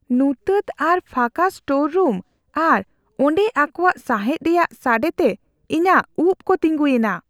ᱧᱩᱛᱟᱹᱛ ᱟᱨ ᱯᱷᱟᱠᱟ ᱥᱴᱳᱨ ᱨᱩᱢ ᱟᱨ ᱚᱸᱰᱮ ᱚᱠᱚᱭᱟᱜ ᱥᱟᱸᱦᱮᱫ ᱨᱮᱭᱟᱜ ᱥᱟᱰᱮᱛᱮ ᱤᱧᱟᱹᱜ ᱩᱯᱽ ᱠᱚ ᱛᱤᱸᱜᱩᱭᱮᱱᱟ ᱾